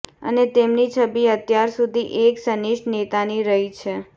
અને તેમની છબી અત્યાર સુધી એક સનિષ્ઠ નેતાની રહી છે